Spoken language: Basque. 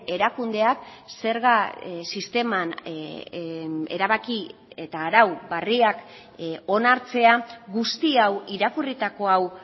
erakundeak zerga sisteman erabaki eta arau berriak onartzea guzti hau irakurritako hau